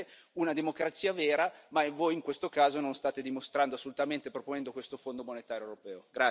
Serve una democrazia vera, ma voi in questo caso non lo state dimostrando assolutamente, proponendo questo Fondo monetario europeo.